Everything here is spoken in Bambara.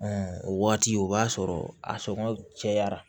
o waati o b'a sɔrɔ a sɔngɔ cayara